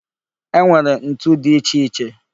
E nwere ntu dị iche iche